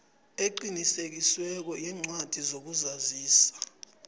eqinisekisiweko yencwadi yokuzazisa